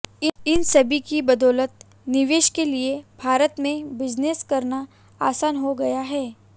इन सभी की बदौलत निवेशक के लिए भारत में बिजनेस करना आसान हो गया है